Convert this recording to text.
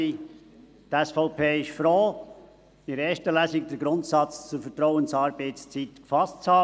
Die SVP ist froh, in der ersten Lesung den Grundsatz der Vertrauensarbeitszeit gefasst zu haben.